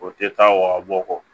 O tɛ taa wa bɔ kɔ